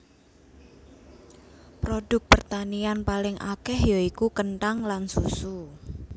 Produk pertanian paling akèh ya iku kenthang lan susu